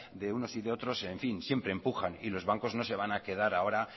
de unos y de otros siempre empujan y los bancos no se van a quedar ahora